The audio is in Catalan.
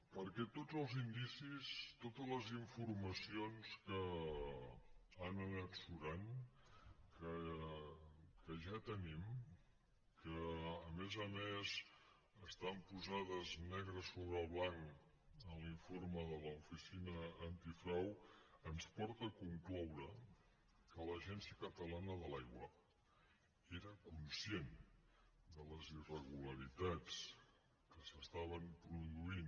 perquè tots els indicis totes les informacions que han anat surant que ja tenim que a més a més estan posades negre sobre blanc en l’informe de l’oficina antifrau ens porten a concloure que l’agència catalana de l’aigua era conscient de les irregularitats que s’hi estaven produint